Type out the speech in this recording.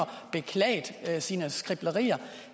beklaget sine skriblerier